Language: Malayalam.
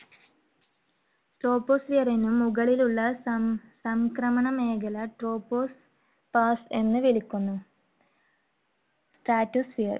troposphere ന് മുകളിലുള്ള സം ~ സംക്രമണ മേഖല tropopause എന്നു വിളിക്കുന്നു. stratosphere